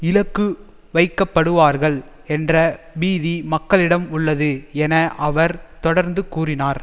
இலக்கு வைக்கப்படுவார்கள் என்ற பீதி மக்களிடம் உள்ளது என அவர் தொடர்ந்து கூறினார்